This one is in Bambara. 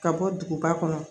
Ka bɔ duguba kɔnɔ